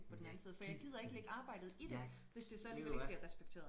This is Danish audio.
Jeg gider jeg ved du hvad